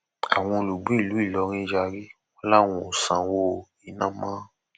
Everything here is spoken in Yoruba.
àwọn olùgbé ìlú ìlọrin yarí wọn làwọn ò sanwó iná mọ